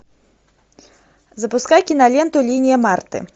запускай киноленту линия марты